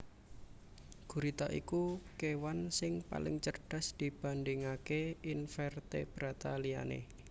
Gurita iku kewan sing paling cerdas dibandingaké invertebrata liyane